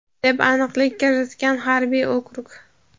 deb aniqlik kiritgan harbiy okrug.